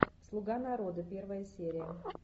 слуга народа первая серия